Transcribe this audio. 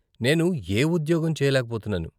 నేను ఏ ఉద్యోగం చేయలేక పోతున్నాను.